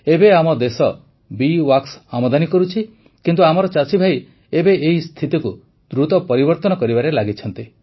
ଏବେ ଆମ bee wax ଆମଦାନୀ କରୁଛି କିନ୍ତୁ ଆମର ଚାଷୀଭାଇ ଏବେ ଏହି ସ୍ଥିତିକୁ ଦ୍ରୁତ ପରିବର୍ତନ କରିବାରେ ଲାଗିଛନ୍ତି